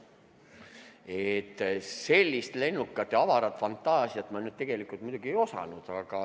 Aga sellist lennukat ja avarat fantaasiat ma tegelikult muidugi ei oodanud.